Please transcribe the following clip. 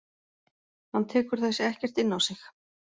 Hann tekur þessi ekkert inn á sig.